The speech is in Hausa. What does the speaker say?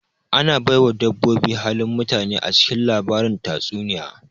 Ana baiwa dabboboi halin mutane acikin lbarin tatsuniya